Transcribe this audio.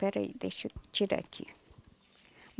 Peraí, deixa eu tirar aqui.